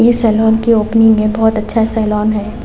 ये सलॉन के ओपनिंग है बहुत अच्छा सैलोन है।